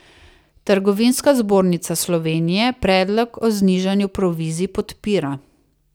Trgovinska zbornica Slovenije predlog o znižanju provizij podpira.